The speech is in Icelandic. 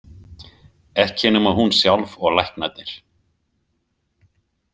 Ekki nema hún sjálf og læknarnir.